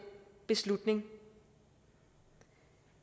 beslutning